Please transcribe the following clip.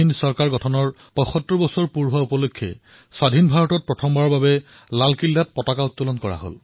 স্বাধীনতাৰ পিছত লালকিল্লাৰ পৰা প্ৰথমবাৰলৈ আজাদ হিন্দ চৰকাৰৰ ৭৫তম বাৰ্ষিকীত ত্ৰিৰংগা উত্তোলন কৰা হৈছে